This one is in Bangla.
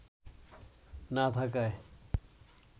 না থাকায়